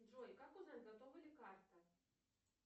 джой как узнать готова ли карта